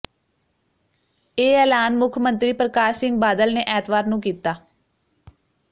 ਇਹ ਐਲਾਨ ਮੁੱਖ ਮੰਤਰੀ ਪ੍ਰਕਾਸ਼ ਸਿੰਘ ਬਾਦਲ ਨੇ ਐਤਵਾਰ ਨੂੰ ਕੀਤਾ